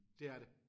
Det er det